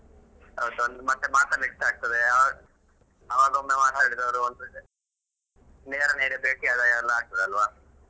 ಹೌದು ಮತ್ತೆ ಮಾತಾಡ್ಲಿಕ್ಕೆ ಆಗ್ತದೆ ಆವಾಗ ಒಮ್ಮೆ ಮಾತಾಡಿದವರು ನೇರ ನೇರ ಬೇಟಿಯಾದಾಗೆಲ್ಲ ಆಗ್ತದಲ್ವಾ.